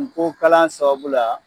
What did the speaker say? N ko kalan sababu la